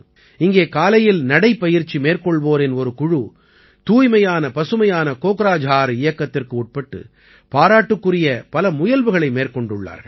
இங்கே காலையில் நடைப்பயிற்சி மேற்கொள்வோரின் ஒரு குழு தூய்மையான பசுமையான கோக்ராஜார் இயக்கத்திற்கு உட்பட்டு பாராட்டுக்குரிய பல முயல்வுகளை மேற்கொண்டுள்ளார்கள்